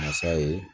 Masa ye